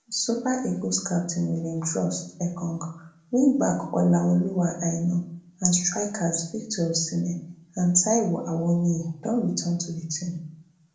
super eagles captain william troost ekong wingback olaoluwa aina and strikers victor osimhen and taiwo awoniyi don return to di team